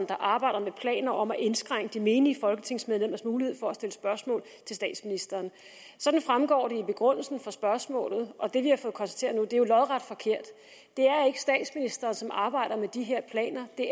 der arbejder med planer om at indskrænke de menige folketingsmedlemmers mulighed for at stille spørgsmål til statsministeren sådan fremgår det i begrundelsen af spørgsmålet og det vi har fået konstateret nu er jo lodret forkert det er ikke statsministeren som arbejder med de her planer det